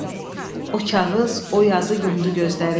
O kağız, o yazı yumdu gözləri.